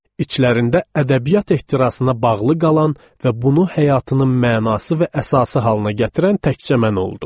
İçlərində ədəbiyyat ehtirasına bağlı qalan və bunu həyatının mənası və əsası halına gətirən təkcə mən oldum.